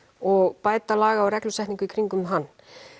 og bæta laga og reglusetningu í kringum hann